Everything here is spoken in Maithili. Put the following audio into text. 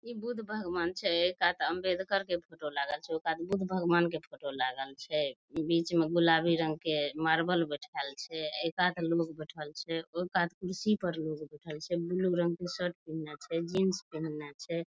ई बुद्ध भगवन छै ऐ कात आंबेडकर के फोटो लागल छै उ कात बुद्ध भगवन के फोटो लागल छै बीच में गुलाबी रंग के मार्बल बैठाएल छै ऐ कात लोग बैठल छै ओय कात कुर्सी पर लोग बैठएल छै ब्लू रंग के शर्ट पिहिन्ने छै जीन्स पिहिन्ने छै।